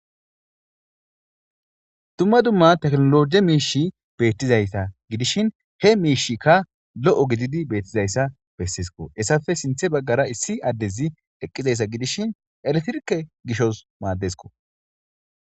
Dumma dumma teknologe miishi beettizaysa gidishin he miishikka lo'o gididi beettizayssa bessisko essafe sinthe baggara issi addezi eqqizayssa gidishin eletrike gishos maaddesko